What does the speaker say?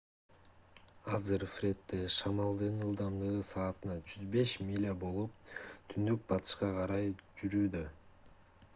азыр фредде шамалдын ылдамдыгы саатына 105 миля 165 км/с болуп түндүк-батышка карай жүрүүдө